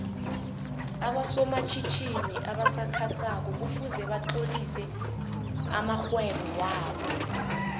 aboso matjhitjhini obasakha soko kufuze batlolise amoihwebo wobo